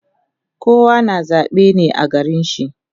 Kowa na zabe ne a garin shi